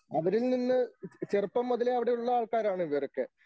അവരിൽനിന്ന് ചെറുപ്പം മുതലേ അവിടെയുള്ള ആൾക്കാരാണ് ഇവരൊക്കെ.